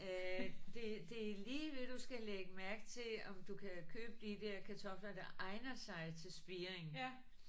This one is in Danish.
Øh det det er lige ved du skal lægge mærke til om du kan købe de der kartofler der egner sig til spiring